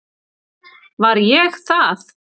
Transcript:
Var ég það?